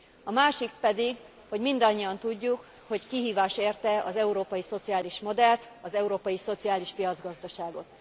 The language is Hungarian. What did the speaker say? A másik pedig, hogy mindannyian tudjuk, hogy kihívás érte az európai szociális modellt, az európai szociális piacgazdaságot.